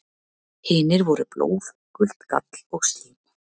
Hinir voru blóð, gult gall og slím.